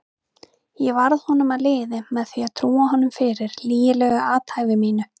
Ég varð honum að liði með því að trúa honum fyrir lygilegu athæfi mínu.